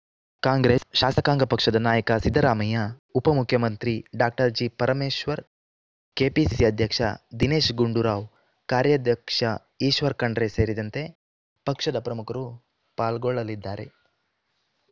ಕಾಂಗ್ರೆಸ್‌ ಶಾಸಕಾಂಗ ಪಕ್ಷದ ನಾಯಕ ಸಿದ್ದರಾಮಯ್ಯ ಉಪ ಮುಖ್ಯಮಂತ್ರಿ ಡಾಕ್ಟರ್ ಜಿ ಪರಮೇಶ್ವರ್‌ ಕೆಪಿಸಿಸಿ ಅಧ್ಯಕ್ಷ ದಿನೇಶ್‌ ಗುಂಡೂರಾವ್‌ ಕಾರ್ಯಾಧ್ಯಕ್ಷ ಈಶ್ವರ್‌ ಖಂಡ್ರೆ ಸೇರಿದಂತೆ ಪಕ್ಷದ ಪ್ರಮುಖರು ಪಾಲ್ಗೊಳ್ಳಲಿದ್ದಾರೆ